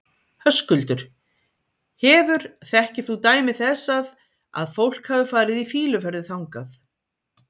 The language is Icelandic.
Höskuldur: Hefur, þekkir þú dæmi þess að, að fólk hafi farið í fýluferðir þangað?